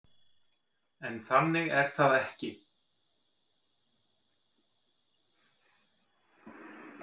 En þannig er það ekki.